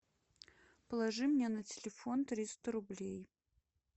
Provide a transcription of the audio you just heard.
положи мне на телефон триста рублей